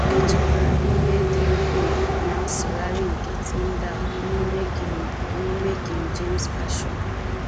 E chekwara ihe dị ukwuu ná nsụgharị nke Tyndale n’ime King n’ime King James Version